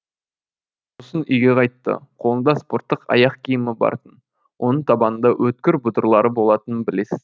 сосын үйге қайтты қолында спорттық аяқ киімі бар тын оның табанында өткір бұдырлары болатынын білесіз